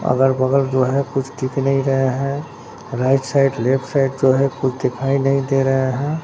अगर बगल जो है कुछ ठीक नहीं रहे हैं राइट साइड लेफ्ट साइड जो है कुछ दिखाई नहीं दे रहा है।